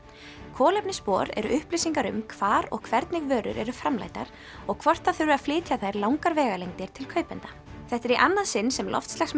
kolefnisspor eru upplýsingar um hvar og hvernig vörur eru framleiddar og hvort það þurfi að flytja þær langar vegalengdir til kaupenda þetta er í annað sinn sem